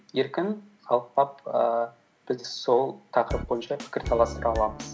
еркін талқылап ііі біз де сол тақырып бойынша пікірталастыра аламыз